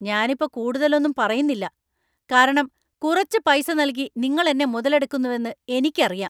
ഞനിപ്പോ കൂടുതലൊന്നും പറയുന്നില്ല കാരണം കുറച്ച് പൈസ നൽകി നിങ്ങൾ എന്നെ മുതലെടുക്കുന്നുവെന്ന് എനിക്കറിയാം .